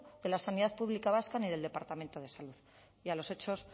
de la sanidad pública vasca ni del departamento de salud y a los hechos